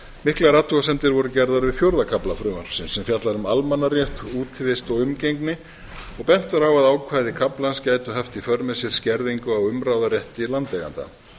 miklar athugasemdir voru gerðar við fjórða kafla frumvarpsins sem fjallar um almannarétt útivist og umgengni og bent er á að ákvæði kaflans gæti haft í för með sér skerðingu á umráðarétti landeigenda